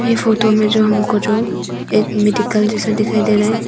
ये फोटो में जो हमको जो एक मेडिकल जैसा दिखाई दे रहा--